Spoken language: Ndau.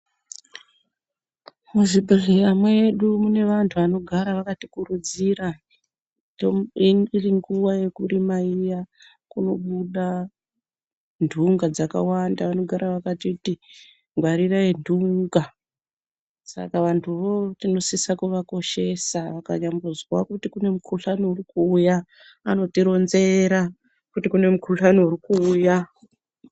Muzvibhedhlera mwedu, mune vanthu vanogara, vakati kurudzira, iri nguwa yekurima iya, kunobude nthunga dzakawanda, vanogara vakatiti ngwarirai nthunga, saka vanthu vo tinosisa kuvakoshesa, vakanyambozwa kuti kune mukhuhlani uri kuuya, anotironzera, kuti kune mukhuhlani uri kuuya.